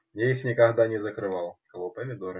я их никогда не закрывал кого помидоры